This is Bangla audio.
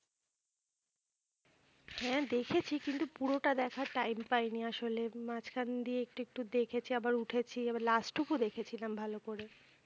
হ্যাঁ দেখেছি কিন্তু পুরোটা দেখার time পাইনি আসলে মাঝখান দিয়ে একটু একটু দেখেছি আবার উঠেছি আবার last টুকু দেখেছিলাম ভালো করে।